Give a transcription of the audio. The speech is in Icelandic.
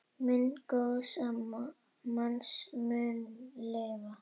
Minning góðs manns mun lifa.